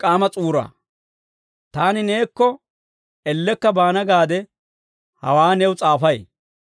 Taani neekko ellekka baana gaade hawaa new s'aafay.